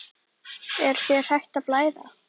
Er þér hætt að blæða?